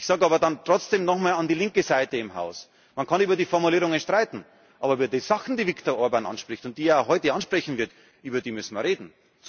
Ich sage aber dann trotzdem nochmal an die linke Seite im Haus gerichtet Man kann über die Formulierungen streiten, aber über die Sachen, die Viktor Orbán anspricht und die er heute ansprechen wird, über die müssen wir reden.